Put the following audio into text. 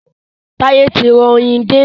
Táyé ti ra oyin dé.